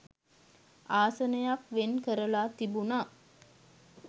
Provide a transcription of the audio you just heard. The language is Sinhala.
ආසනයක් වෙන් කරලා තිබුණා.